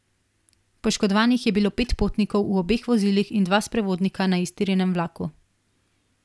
Poškodovanih je bilo pet potnikov v obeh vozilih in dva sprevodnika na iztirjenem vlaku.